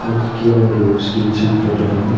இதுக்கு கீழ ஒரு ஸ்டீல் ஷீட் போட்ருக்காங்க.